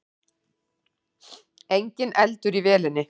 Enginn eldur í vélinni